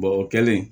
o kɛlen